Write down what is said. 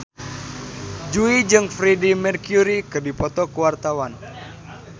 Jui jeung Freedie Mercury keur dipoto ku wartawan